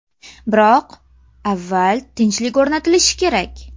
Biroq avval tinchlik o‘rnatilishi kerak.